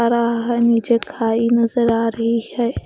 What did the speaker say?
आ रहा है नीचे खाई नजर आ रही है ।